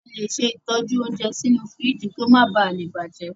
A le ṣe ìtọ́jú óúnjẹ sínú fíríjì kí o máa ba à bàjẹ́.